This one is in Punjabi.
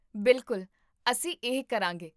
ਬਿਲਕੁਲ, ਅਸੀਂ ਇਹ ਕਰਾਂਗੇ